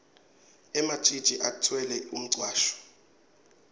ematjitji atfwele umcwasho